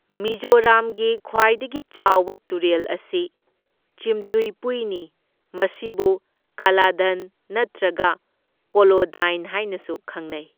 ꯃꯤꯖꯣꯔꯥꯝꯒꯤ ꯈ꯭ꯋꯥꯏꯗꯒꯤ ꯆꯥꯎꯕ ꯇꯨꯔꯦꯜ ꯑꯁꯤ ꯆꯤꯝꯇꯨꯏꯄꯨꯏꯅꯤ, ꯃꯁꯤꯕꯨ ꯀꯂꯗꯟ ꯅꯠꯇ꯭ꯔꯒ ꯀꯣꯂꯣꯗꯥꯏꯟ ꯍꯥꯏꯅꯁꯨ ꯈꯪꯅꯩ꯫